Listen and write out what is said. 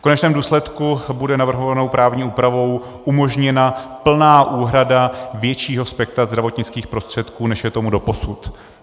V konečném důsledku bude navrhovanou právní úpravou umožněna plná úhrada většího spektra zdravotnických prostředků, než je tomu doposud.